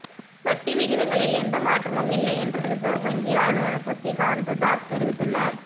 வட்டி விகிதங்களில் எந்த மாற்றமும் இல்லை என்று ரிசர்வ் வங்கி ஆளுநர் சக்திகாந்ததாஸ் தெரிவித்துள்ளார்